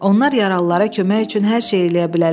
Onlar yaralılara kömək üçün hər şey eləyə bilərlər.